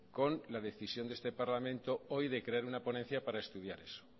con la decisión de este parlamento hoy de crear una ponencia para estudiar eso